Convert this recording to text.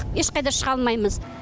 ешқайда шыға алмаймыз